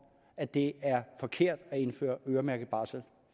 at det er forkert at indføre øremærket barsel